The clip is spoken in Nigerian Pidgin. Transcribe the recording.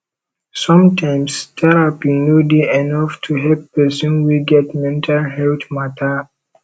sometimes terapi no dey enough to help pesin wey get mental healt mata